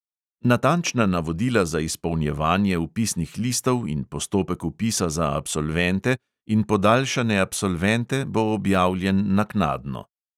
Natančna navodila za izpolnjevanje vpisnih listov in postopek vpisa za absolvente in podaljšane absolvente bo objavljen naknadno.